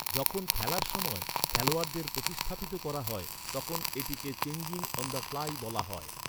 যখন খেলার সময় খেলোয়াড়দের প্রতিস্থাপিত করা হয়, তখন এটাকে চেঞ্জিং অন দ ফ্লাই বলা হয়।